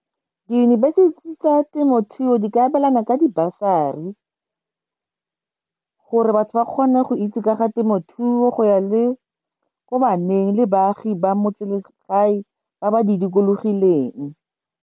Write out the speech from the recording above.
Diyunibesithi tsa temothuo di ka abelana ka dibasari gore batho ba kgone go itse ka ga temothuo go ya le ko baneng le baagi ba ba ba di dikologileng.